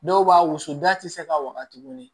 Dɔw b'a wusu da ti se ka waga tuguni